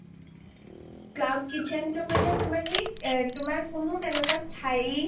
cloud kitchen টো মানে তোমাৰ কি তোমাৰ কোনো তেনেকুৱা স্থায়ী